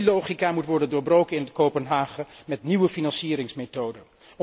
Die logica moet worden doorbroken in Kopenhagen met nieuwe financieringsmethoden.